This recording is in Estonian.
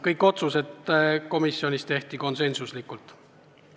Kõik otsused komisjonis langetati konsensusega.